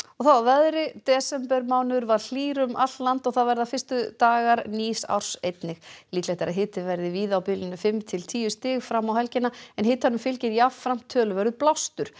þá að veðri desembermánuður var hlýr um allt land og það verða fyrstu dagar nýs árs einnig líklegt er að hiti verði víða á bilinu fimm til tíu stig fram á helgina en hitanum fylgir jafnframt töluverður blástur